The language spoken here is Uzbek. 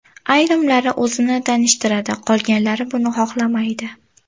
Ayrimlari o‘zini tanishtiradi, qolganlar buni xohlamaydi.